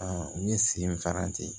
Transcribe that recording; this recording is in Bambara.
n ye sen fara ten